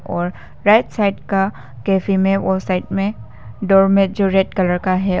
और right side का cafe में और साइड में डोरमेट जो रेड कलर का है।